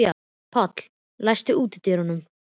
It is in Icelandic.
Páll, læstu útidyrunum.